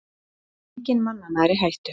Enginn mannanna er í hættu